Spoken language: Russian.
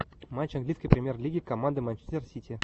матч английской премьер лиги команды манчестер сити